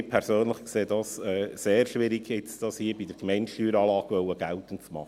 Ich persönlich erachte dies als sehr schwierig, dies hier bei der Gemeindesteueranlage geltend machen zu wollen.